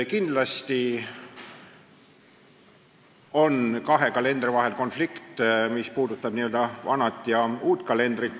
Kindlasti on kahe kalendri, uue ja vana vahel konflikt.